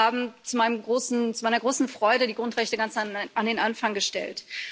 Sie haben zu meiner großen Freude die Grundrechte ganz an den Anfang gestellt.